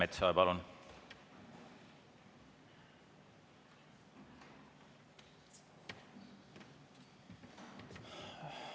Andres Metsoja, palun!